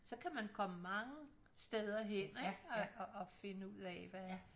Så kan man komme mange steder hen ik og finde ud af hvad